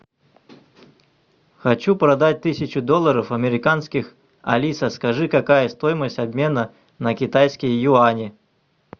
хочу продать тысячу долларов американских алиса скажи какая стоимость обмена на китайские юани